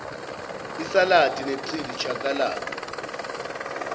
isaladi nechili chakalaka